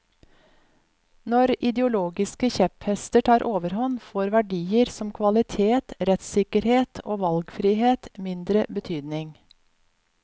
Når ideologiske kjepphester tar overhånd, får verdier som kvalitet, rettssikkerhet og valgfrihet mindre betydning.